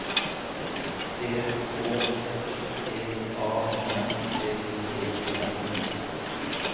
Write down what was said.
P Å S T A N D E N